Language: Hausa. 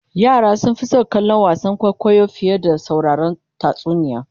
yara sun Fi San kallon wasan kwaikwayo fiye da sauraron tatsuniya